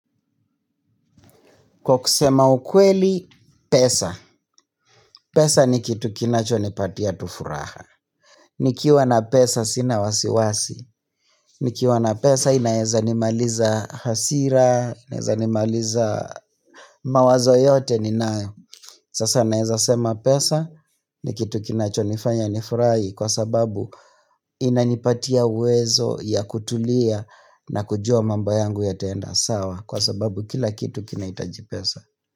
Kwa kusema ukweli, pesa. Pesa ni kitu kinachonipatia tu furaha. Nikiwa na pesa sina wasiwasi. Nikiwa na pesa inaweza nimaliza hasira, inaweza nimaliza mawazo yote ninayo. Sasa naweza sema pesa ni kitu kinachonifanya nifurahi kwa sababu inanipatia uwezo ya kutulia na kujua mambo yangu itaenda sawa kwa sababu kila kitu kinahitaji pesa.